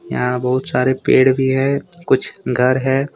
यहां बहुत सारे पेड़ भी है कुछ घर है।